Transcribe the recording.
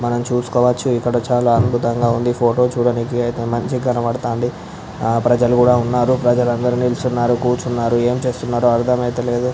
మనము చూసుకోవచ్చు ఇక్కడ చాలా అద్భుతంగా ఉండే ఫోటో చూడానికి చాలా మంచిగా కనిపెస్తునది ప్రజలు కూడా ఉన్నారు ప్రజలు కూర్చొని ఉన్నారు నుంచోనిఉన్నారు కానీ ఏమి చేస్తున్రో అర్ధము అవడము లేదు.